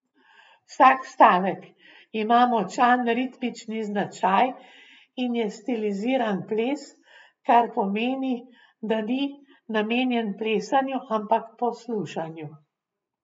Vsak stavek ima močan ritmični značaj in je stiliziran ples, kar pomeni, da ni namenjen plesanju, ampak poslušanju.